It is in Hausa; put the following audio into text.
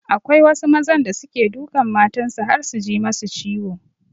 Akwai wasu mazan da suke dukan matan su har su ji masu ciwo.